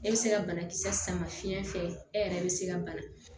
E bɛ se ka banakisɛ sama fiɲɛ fɛ e yɛrɛ bɛ se ka bana